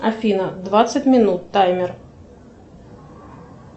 афина двадцать минут таймер